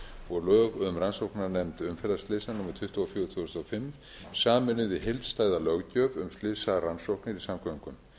og fjögur tvö þúsund og fimm sameinuð í heildstæða löggjöf um slysarannsóknir í samgöngum